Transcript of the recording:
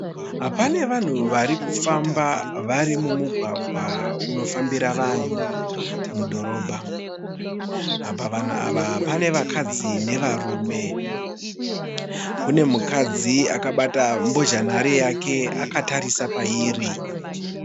Pane vanhu varikufamba vari mumugwagwa unofambira vanhu mudhorobha. Pavanhu ava pane vakadzi nevarume. Kune mukadzi akabata mbozha nhare yake akatarisa pairi.